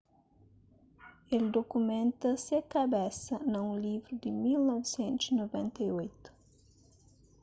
el dukumenta se kabesa na un livru di 1998